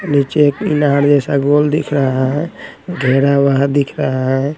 नीचे एक इनार जैसा गोल दिख रहा हैं घेरा वहाँ दिख रहा हैं।